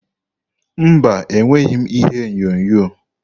Mba, enweghị m ihe onyonyo.